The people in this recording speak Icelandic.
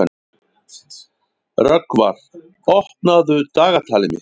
Rögnvar, opnaðu dagatalið mitt.